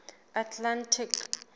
atlantic